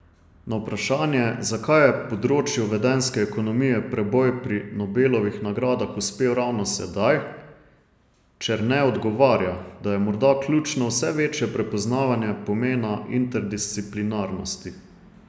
Na vprašanje, zakaj je področju vedenjske ekonomije preboj pri Nobelovih nagradah uspel ravno sedaj, Černe odgovarja, da je morda ključno vse večje prepoznavanje pomena interdisciplinarnosti.